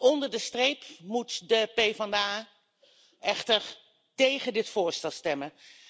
Onder de streep moet de PVDA echter tegen dit voorstel stemmen.